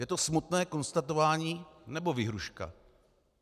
Je to smutné konstatování, nebo výhrůžka?